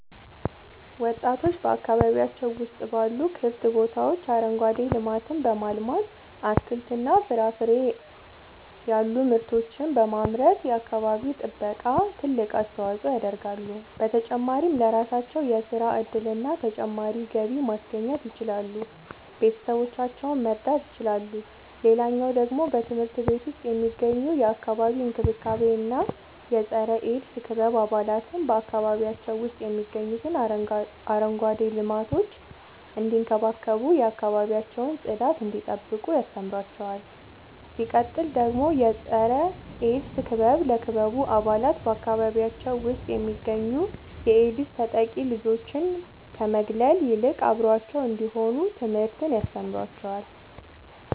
ወጣቶች በአካባቢያቸው ውስጥ ባሉ ክፍት ቦታዎች አረንጓዴ ልማትን በማልማት አትክልትና ፍራፍሬ ያሉ ምርቶችን በማምረት የአካባቢው ጥበቃ ትልቅ አስተዋጽኦ ያደርጋሉ። በተጨማሪም ለራሳቸው የሥራ እድልና ተጨማሪ ገቢ ማስገኘት ይችላሉ ቤተሰቦቻቸውን መርዳት ይችላሉ። ሌላኛው ደግሞ በትምህርት ቤት ውስጥ የሚገኙ የአካባቢ እንክብካቤ እና የፀረ -ኤድስ ክበብ አባላት በአካባቢያቸው ውስጥ የሚገኙትን አረንጓዴ ልማቶች እንዲንከባከቡ የአካባቢያቸውን ጽዳት እንዲጠብቁ ያስተምሯቸዋል። ሲቀጥል ደግሞ የፀረ-ኤድስ ክበብ ለክበቡ አባላት በአካባቢያቸው ውስጥ የሚገኙ የኤድስ ተጠቂ ልጆችን ከመግለል ይልቅ አብረዋቸው እንዲሆኑ ትምህርትን ያስተምራቸዋል።